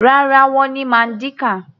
Rárá, wọ́n ní Mandinka.